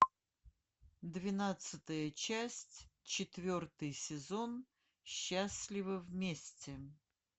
двенадцатая часть четвертый сезон счастливы вместе